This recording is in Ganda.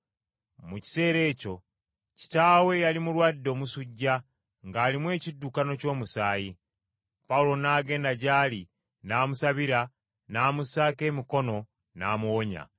Mu kiseera ekyo kitaawe yali mulwadde omusujja ng’alimu ekiddukano ky’omusaayi. Pawulo n’agenda gy’ali n’amusabira, n’amussaako emikono n’amuwonya!